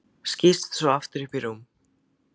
Skýst svo aftur upp í rúm.